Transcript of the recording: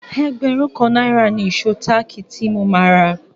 Ẹgbẹ̀rún kan náírà ni ìṣó táàkì tí mo máa rà.